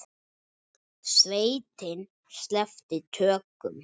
Sveitin sleppti tökum.